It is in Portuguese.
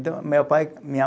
Meu pai, minha